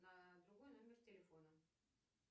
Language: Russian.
на другой номер телефона